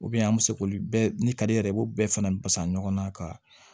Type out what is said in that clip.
an bɛ se k'olu bɛɛ ni kari yɛrɛ i b'o bɛɛ fana basa ɲɔgɔnna ka